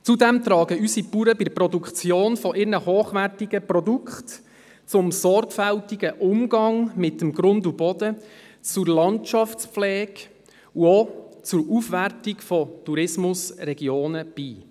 Zudem tragen unsere Bauern bei der Produktion ihrer hochwertigen Produkte beim sorgfältigen Umgang mit dem Grund und Boden zur Landschaftspflege und auch zur Aufwertung von Tourismusregionen bei.